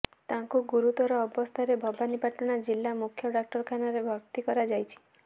ତାଙ୍କୁ ଗୁରୁତର ଅବସ୍ଥାରେ ଭବାନିପାଟଣା ଜିଲ୍ଲା ମୂଖ୍ୟ ଡାକ୍ତରଖାନାରେ ଭର୍ତ୍ତି କରାଯାଇଛି